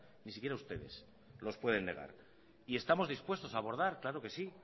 ni siquiera ustedes los pueden negar y estamos dispuestos a abordar